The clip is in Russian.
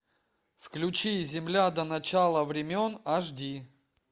включи земля до начала времен аш ди